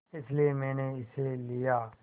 इसलिए मैंने इसे लिया